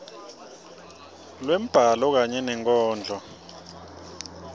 lwembhalo kanye nenkondlo